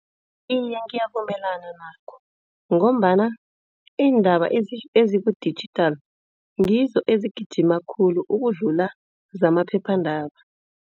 Iye ngiyavumelana nakho ngombana iindaba eziku-digital ngizo ezigijima khulu ukudlula zamaphephandaba.